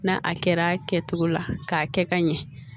N'a a kɛra a kɛcogo la k'a kɛ ka ɲɛ